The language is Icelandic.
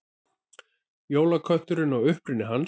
Jólakötturinn og uppruni hans.